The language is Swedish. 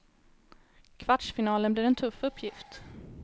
Kvartsfinalen blir en tuff uppgift.